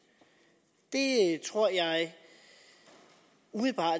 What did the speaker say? tror jeg umiddelbart